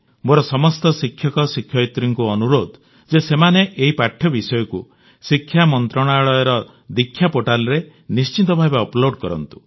ମୋର ସମସ୍ତ ଶିକ୍ଷକଶିକ୍ଷୟିତ୍ରୀଙ୍କୁ ଅନୁରୋଧ ଯେ ସେମାନେ ଏହି ପାଠ୍ୟବିଷୟକୁ ଶିକ୍ଷା ମନ୍ତ୍ରାଳୟର ଦୀକ୍ଷା ପୋର୍ଟାଲ୍ରେ ନିଶ୍ଚିତଭାବେ ଅପଲୋଡ କରନ୍ତୁ